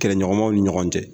Kɛlɛɲɔgɔnmaw ni ɲɔgɔn cɛ